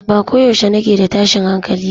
Ba ko yaushe nake da tashin hankali ba